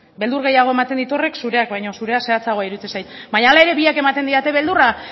beldur gehiago ematen dit horrek zureak baino zurea zehatzagoa iruditzen zait baina hala ere biak ematen didate beldurra